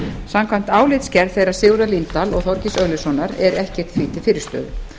samkvæmt álitsgerð þeirra sigurðar líndal og þorgeirs örlygssonar er ekkert því til fyrirstöðu